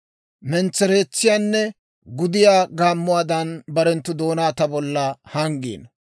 Mentsereetsiyaanne gudiyaa gaammuwaadan barenttu doonaa ta bolla hanggiino.